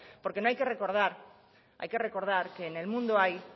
porque hay que recordar que en el mundo hay